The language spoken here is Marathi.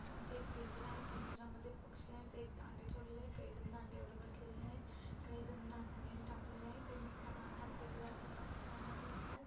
इथे एक पिंजरा आहे पिंजरा मध्ये पक्षी आहेत एक दांडी ठेवलेली आहे काही जन दांडी वर बसलेले आहेत. काही जण धान्य टाकलेले आहेत खाद्य पदार्थ खाताना दिसतायत.